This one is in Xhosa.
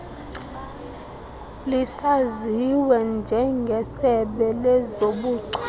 lisaziwe njengesebe lezobuchule